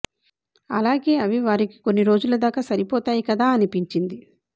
అలాగే అవి వారికి కొన్ని రోజుల దాకా సరిపోతాయి కదా అనిపించింది